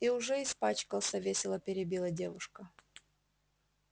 и уже испачкался весело перебила девушка